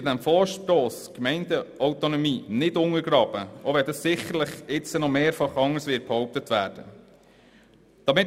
Mit diesem Vorstoss wird die Gemeindeautonomie nicht untergraben, auch wenn das sicherlich hier noch mehrfach anders behauptet werden wird.